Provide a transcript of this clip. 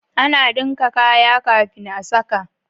Ana Dinka kaya kafin a saka